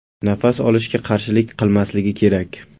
Nafas olishga qarshilik qilmasligi kerak!